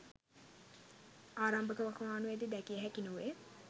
ආරම්භක වකවානුවේදී දැකිය හැකි නොවේ.